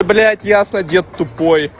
блядь ясно дед тупой